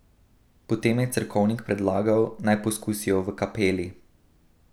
Potem je cerkovnik predlagal, naj poskusijo v kapeli.